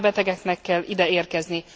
Nyilván a betegeknek kell ide érkezni.